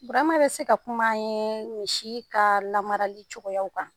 Burama bɛ se ka kum'an ye si ka lamarali cogoyaw kan.